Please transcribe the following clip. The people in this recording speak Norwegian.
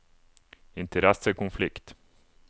interessekonflikt